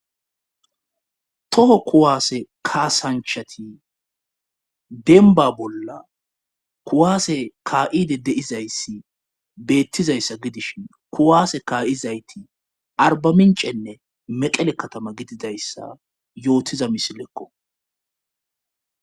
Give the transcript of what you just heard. Toho kuwaase kaasanchati denba bolla kuwaase kaa7ide deizayssi beettizayssa gidishin kuwaase kaa7izayti arbamincenne meqele katama gididayssa yootiza misilekko